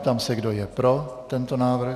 Ptám se, kdo je pro tento návrh.